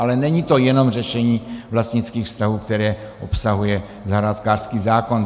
Ale není to jenom řešení vlastnických vztahů, které obsahuje zahrádkářský zákon.